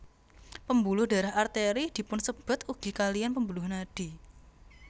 Pembuluh darah Arteri dipunsebat ugi kaliyan pembuluh nadi